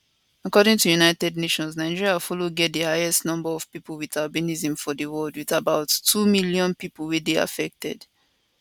according to united nations nigeria follow get di highest number of pipo with albinism for di world wit about two million pipo wey dey affected